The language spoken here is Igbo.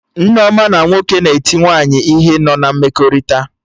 Nneoma na nwoke na-eti nwaanyị ihe nọ na mmekọrịta